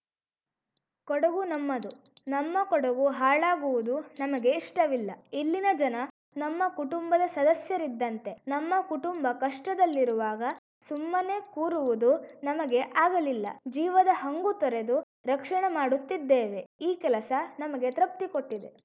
ಕೊಡಗು ನಮ್ಮದು ನಮ್ಮ ಕೊಡಗು ಹಾಳಾಗುವುದು ನಮಗೆ ಇಷ್ಟವಿಲ್ಲ ಇಲ್ಲಿನ ಜನ ನಮ್ಮ ಕುಟುಂಬದ ಸದಸ್ಯರಿದ್ದಂತೆ ನಮ್ಮ ಕುಟುಂಬ ಕಷ್ಟದಲ್ಲಿರುವಾಗ ಸುಮ್ಮನೆ ಕೂರುವುದು ನಮಗೆ ಆಗಲಿಲ್ಲ ಜೀವದ ಹಂಗುತೊರೆದು ರಕ್ಷಣೆ ಮಾಡುತ್ತಿದ್ದೇವೆ ಈ ಕೆಲಸ ನಮಗೆ ತೃಪ್ತಿಕೊಟ್ಟಿದೆ